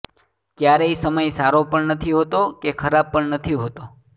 ક્યારેય સમય સારો પણ નથી હોતો કે ખરાબ પણ નથી હોતો